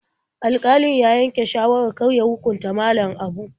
Alƙalin ya yanke shawarar kar ya hukunta Malam Abu.